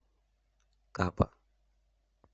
капа